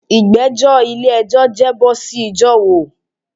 Igbẹjọ ile-ẹjọ jẹ bo si Ìgbà wo?